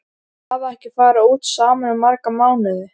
Þau hafa ekki farið út saman í marga mánuði.